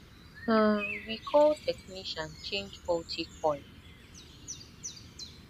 um we call technician change faulty coil